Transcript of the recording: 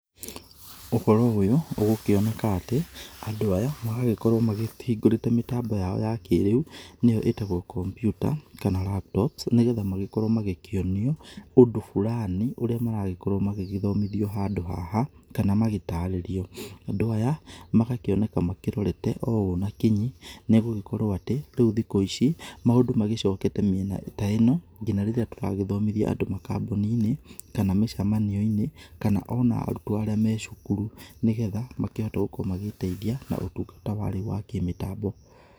Ũhoro ũyũ ũgũkĩoneka atĩ andũ aya maragĩkorwo makĩhĩngũrĩte mĩtambo yao ya kĩrĩu nĩyo ĩtagwo computer, kana laptops, nĩgetha magĩkorwo magĩkĩonio ũndũ burani ũrĩa maragĩkorwo magĩgĩthomithio handũ haha, kana magĩtarĩrio. Andũ aya magakĩoneka makĩrorete o ũũ na kinyi nĩ gũgĩkorwo atĩ rĩu thikũ ici, maũndũ magĩcokete mĩena ta ĩno nginya rĩrĩa tũragĩthomithia andũ makambũnĩ-inĩ, kana mĩcemanio-inĩ, kana ona arutwo arĩa me cukuru, nĩgetha makĩhote gũkorwo magĩteithia na ũtũngata ũyũ wa kĩrĩũ wa kĩmĩtambo.